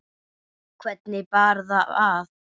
Hvernig bar það að?